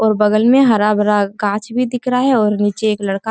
और बगल में हरा भरा गाछ भी दिख रहा है और निचे एक लड़का --